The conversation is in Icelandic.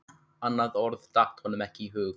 Annað orð datt honum ekki í hug.